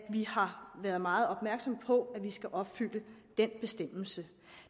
vi har været meget opmærksomme på at vi skal opfylde den bestemmelse